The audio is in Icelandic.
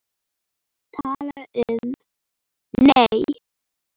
Tala um, nei!